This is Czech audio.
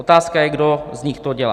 Otázka je, kdo z nich to dělá.